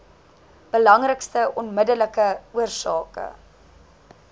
belangrikste onmiddellike oorsake